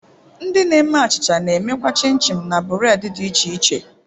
Ndi na-eme achicha na-emekwa chin-chin na bureedi dị iche iche